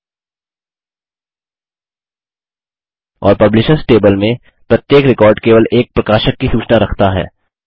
और publishers table में प्रत्येक रिकॉर्ड केवल एक प्रकाशक की सूचना रखता है